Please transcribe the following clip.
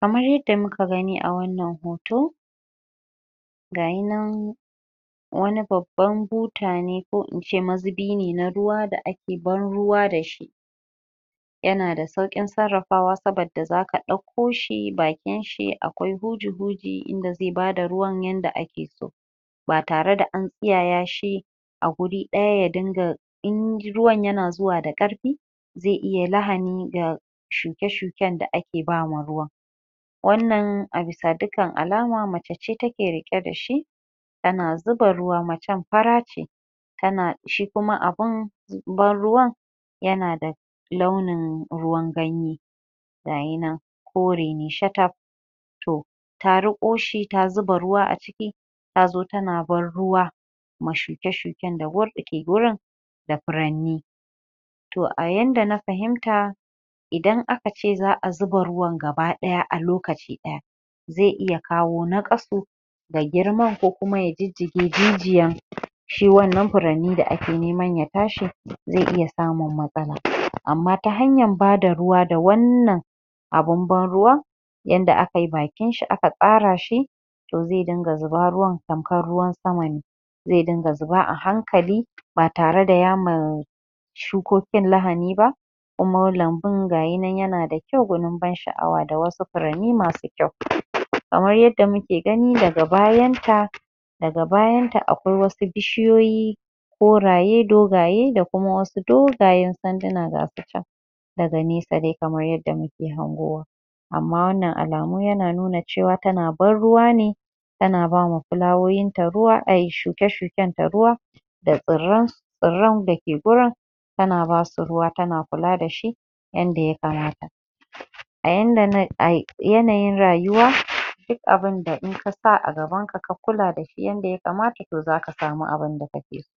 kamar yadda muka gani a wannan hoto ga yi nan wa ni babban buta ne ko in ce mazubi ne na ruwa da ae ban ruwa da shi ya na da sauƙin sarrafawa saboda zaka ɗauko shi bakin shi akwai huji-huji in da zai ba da ruwan yanda ake so ba tare da an tsiyaya shi a guri ɗaya ya dinga in ruwan na zuwa da ƙarfi zai iya lahani ga shuke-shuken d ake ba ma ruwan wannan a bisa dukkan alama mace ce take riƙe da shi ta na zuba macen fara ce ta na shi kuma abun ban ruwan ya na da launin ruwan ganye ga yi nan kore ne shataf to ta riƙo shi ta zuba ruwa a ciki ta zo tana ban ruwa da shuke-shuken da ke wurin da furanni to a yanda na fahimta idan aka ce za'a zuba ruwan gaba ɗaya a lokaci ɗaya zai iya kawo naƙasu ga girman ko kuma jijjige jijiyan shi wanna furanni da ake neman ya tashi zai iya samun matsala amma ta hanayar ba da ruwa da wannan abun abn ruwan ynda aka yi bakin shi aka ƙara shi zai dinga zuba ruwan tamkar ruwan sama ne zai dinga zuba a hankali ba tare da ya ma shukokin lahani ba amma lambun ga yi nan ya na da kyau gwanin ban sha'awa da wasu furanni masu kyau kamar yadda muke gani daga bayanta daga bayanta akwai wasu bishiyoyi koraye dogaye da kuma wasu dogayen sanduna ga su can daga nesa dai kamar yadda muke hangowa amma wannan alamu yana nuna cewa tana ban ruwa ne ta na ba ma fulawawowin ta ruwa ai shuke-shuken ta ruwa da tsirren tsirrn da ke wurin ta na basu ruwa ta na kula da shi yanda ya kamata a yanayin ruwa duk abinda in ka sa a gabanka ka kula da shi yanda ya kamata to zaka sami abinda kake so